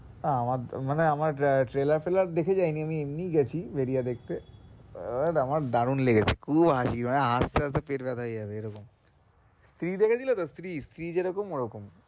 আহ আমার তো মানে আমার trailer ফ্রেলার দেখে যায়নি এমনি গেছি ভেরিয়া দেখতে এটা আমার দারুন লেগেছে খুব হাসি মানে হাসতে-হাসতে পেট ব্যাথা হয়েযাবে এ রকম স্ত্রী দেখেছিলে তো স্ত্রী যে রকম ওই রকম